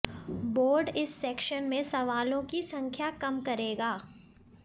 board इस section में सवालों की संख्या कम करेगा